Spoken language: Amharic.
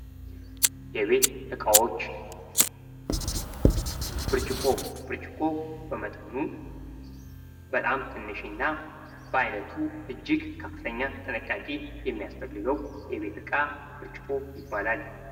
የቤት እቃዎች ፦ ብርጭቆ፦ ብርጭቆ በመጠኑ በጣም ትንሽ እና በአይነቱ እጅግ ከፍተኛ ጥንቃቄ የሚያስፈልገው የቤት እቃ በጭቆ ይባላል።